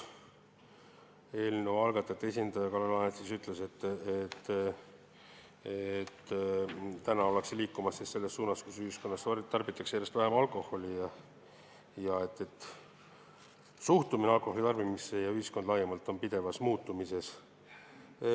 Eelnõu algatajate esindaja Kalle Laanet ütles, et ollakse liikumas selles suunas, et ühiskonnas tarbitakse järjest vähem alkoholi, ja suhtumine alkoholitarbimisse ning ka ühiskond laiemalt on pidevas muutumises.